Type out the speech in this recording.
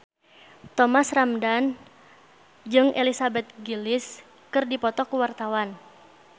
Thomas Ramdhan jeung Elizabeth Gillies keur dipoto ku wartawan